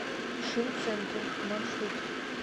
шинцентр маршрут